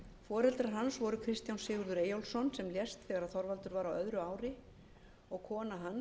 foreldrar hans voru kristján sigurður eyjólfsson sem lést þegar þorvaldur var á öðru ári og kona hans maría bjargey